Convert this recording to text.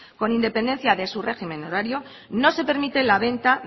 con independencia de su régimen horario no se permite la venta